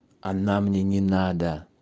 она мне не надо